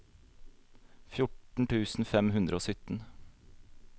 fjorten tusen fem hundre og sytten